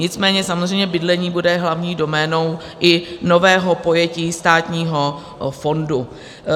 Nicméně samozřejmě bydlení bude hlavní doménou i nového pojetí státního fondu.